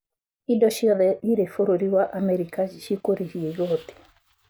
Indo ciothe irĩ bũrũri wa America cikurĩhio igoti